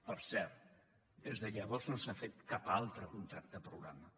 per cert des de llavors no s’ha fet cap altre contracte programa